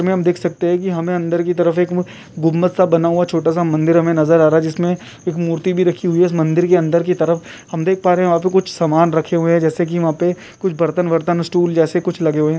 Picture में हम देख सकते हैं की हमें अंदर की तरफ एक गुंबद सा बना हुआ छोटा सा मंदिर हमें नजर आ रहा है जिसमें एक मूर्ति भी रखी हुई है इस मंदिर के अंदर कि तरफ हम देख पा रहे हैं वहां पर कुछ समान रखे हुए जैसे कि वहाँ पर कुछ बर्तन-वररतं सटूल जैसे कुछ लगे हुए हैं।